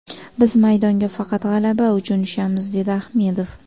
Biz maydonga faqat g‘alaba uchun tushamiz”, dedi Ahmedov.